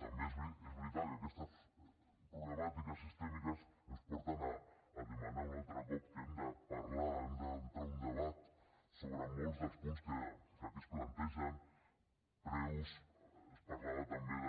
també és veritat que aquestes problemàtiques sistèmiques ens porten a demanar un altre cop que hem de parlar hem d’entrar a un debat sobre molts dels punts que aquí es plantegen preus es parlava també